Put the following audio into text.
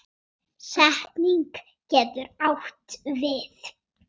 Setning getur átt við